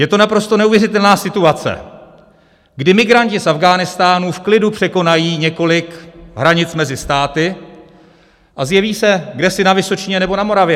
Je to naprosto neuvěřitelná situace, kdy migranti z Afghánistánu v klidu překonají několik hranic mezi státy a zjeví se kdesi na Vysočině nebo na Moravě.